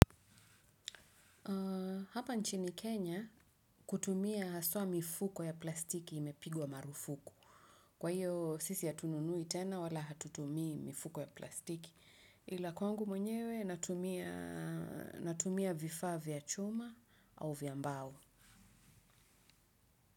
Hapa nchini Kenya kutumia haswa mifuko ya plastiki imepigwa marufuku. Kwa hiyo sisi hatununui tena wala hatutumii mifuko ya plastiki ila kwangu mwenyewe natumia vifaa vya chuma au vya mbao.